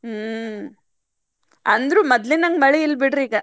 ಹ್ಮ್ ಅಂದ್ರು ಮದ್ಲಿನಂಗ್ ಮಳಿ ಇಲ್ಲಬಿಡ್ರಿ ಈಗ.